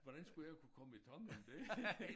Hvordan skulle jeg kunne komme i tanker om det?